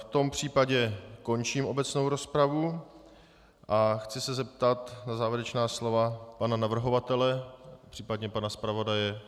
V tom případě končím obecnou rozpravu a chci se zeptat na závěrečná slova pana navrhovatele, případně pana zpravodaje.